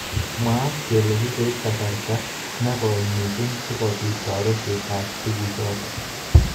Mwaat kele kikoib kasarta nekoi mising sikobit toretet ab tukjot.